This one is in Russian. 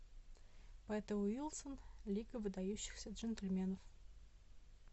пета уилсон лига выдающихся джентльменов